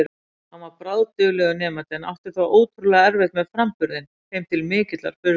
Hann var bráðduglegur nemandi en átti þó ótrúlega erfitt með framburðinn, þeim til mikillar furðu.